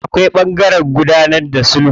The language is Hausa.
Akwai ɓangaren gudanar da sulhu.